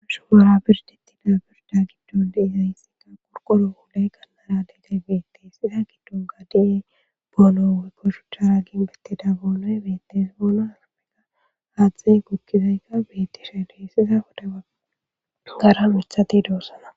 Shubora birdetida birda giddon Bombay detes, iza gidonka dizay bonoy betes, boonoy betes , iza pude bagara mithat dosona .